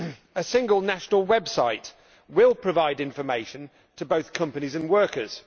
A single national website will provide information to both companies and workers.